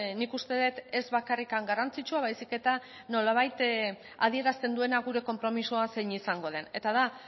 nik uste dut ez bakarrik garrantzitsua baizik eta nolabait adierazten duena gure konpromisoa zein izango den eta da